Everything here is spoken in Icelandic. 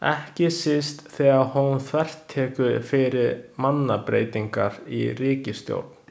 Ekki síst þegar hún þvertekur fyrir mannabreytingar í ríkisstjórn.